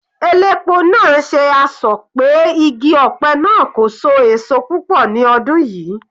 Elépo náà ṣe asọ̀ pé igi ọ̀pẹ náà kò so èso púpọ̀ ní ọdún yìí.